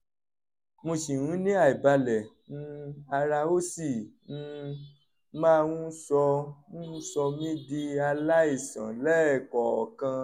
mo ṣì ń ní àìbalẹ̀ um ara ó sì um máa ń sọ ń sọ mí di aláìsàn lẹ́ẹ̀kọ̀ọ̀kan